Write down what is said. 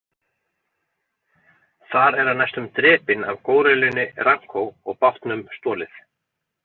Þar er hann næstum drepinn af górillunni Ranko og bátnum stolið.